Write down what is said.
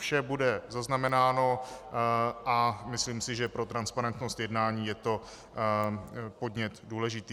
Vše bude zaznamenáno a myslím si, že pro transparentnost jednání je to podnět důležitý.